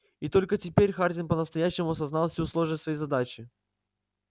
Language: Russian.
и только теперь хардин по-настоящему осознал всю сложность своей задачи